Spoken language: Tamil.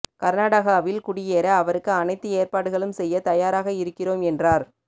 கர்நாடகாவில் குடியேற அவருக்கு அனைத்து ஏற்பாடுகளும் செய்ய தயாராக இருக்கிறோம் என்றார்